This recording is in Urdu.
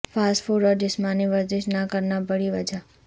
فاسٹ فوڈ اور جسمانی ورزش نہ کرنا بڑی وجہ